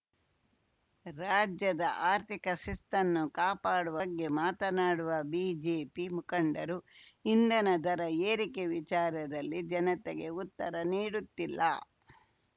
ರಾಜ್ಯದ ಆರ್ಥಿಕ ಶಿಸ್ತನ್ನು ಕಾಪಾಡುವ ಬಗ್ಗೆ ಮಾತನಾಡುವ ಬಿಜೆಪಿ ಮುಖಂಡರು ಇಂಧನ ದರ ಏರಿಕೆ ವಿಚಾರದಲ್ಲಿ ಜನತೆಗೆ ಉತ್ತರ ನೀಡುತ್ತಿಲ್ಲ